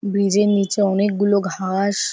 ব্রীজের নিচে অনেকগুলো ঘা-অ-স --